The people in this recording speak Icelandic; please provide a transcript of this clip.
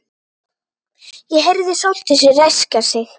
Ég heyrði Sóldísi ræskja sig.